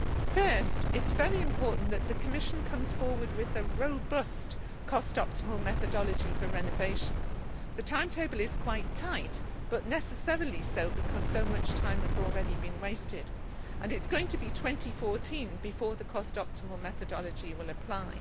Firstly, it is very important that the Commission comes forward with a robust cost optimal methodology for renovation. The timetable is quite tight, but necessarily so because so much time has already been wasted, and it is going to be 2014 before the cost optimal methodology will apply.